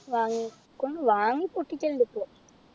വാങ്ങിക്കും വാങ്ങി പൊട്ടിക്കലുണ്ട് ഇപ്പൊ